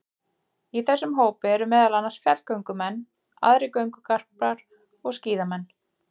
Í þessum hópi eru meðal annars fjallgöngumenn, aðrir göngugarpar og skíðamenn.